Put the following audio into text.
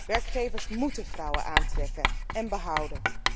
Werkgevers moeten vrouwen aantrekken en behouden.